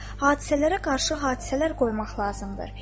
Hadisələrə qarşı hadisələr qoymaq lazımdır.